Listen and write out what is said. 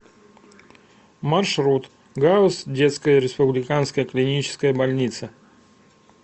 маршрут гауз детская республиканская клиническая больница